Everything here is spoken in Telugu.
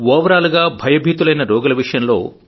ఓవరాల్ గా భయభీతులైన రోగుల విషయంలో